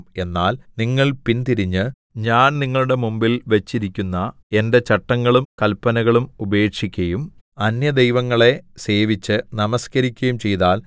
എന്നാൽ നിങ്ങൾ പിൻതിരിഞ്ഞ് ഞാൻ നിങ്ങളുടെ മുമ്പിൽ വെച്ചിരിക്കുന്ന എന്റെ ചട്ടങ്ങളും കല്പനകളും ഉപേക്ഷിക്കയും അന്യദൈവങ്ങളെ സേവിച്ച് നമസ്കരിക്കയും ചെയ്താൽ